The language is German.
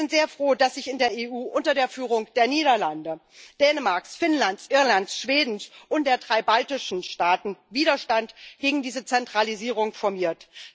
Und wir sind sehr froh, dass sich in der EU unter der Führung der Niederlande, Dänemarks, Finnlands, Irlands, Schwedens und der drei baltischen Staaten Widerstand gegen diese Zentralisierung formiert.